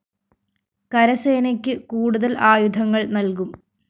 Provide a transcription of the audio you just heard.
കരസേനക്ക് കൂടുതല്‍ ആയുധങ്ങള്‍ നല്‍കും